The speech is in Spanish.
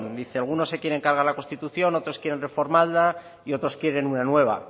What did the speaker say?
dice algunos se quieren cargar la constitución otros quieren reformarla y otros quieren una nueva